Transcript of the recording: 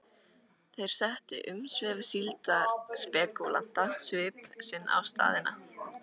Þar settu umsvif síldarspekúlanta svip sinn á staðina.